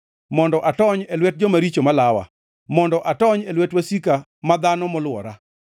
mondo atony e lwet joma richo ma lawa, mondo atony e lwet wasika ma dhano molwora.